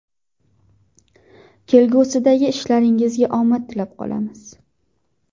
Kelgusidagi ishlaringizga omad tilab qolamiz.